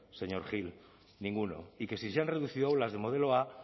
señor gil ninguno y que si se han reducido aulas de modelo a